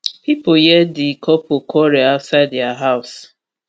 pipo hear di couple quarrel outside dia house